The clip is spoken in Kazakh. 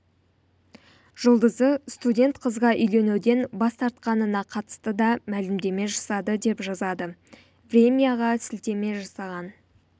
жұлдызы студент қызға үйленуден бас тартқанына қатысты да мәлімдеме жасады деп жазады времяға сілтеме жасаған